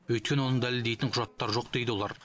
өйткені оны дәлелдейтін құжаттары жоқ дейді олар